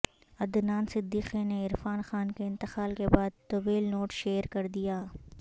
عدنان صدیقی نے عرفان خان کے انتقال کے بعد طویل نوٹ شیئر کردیا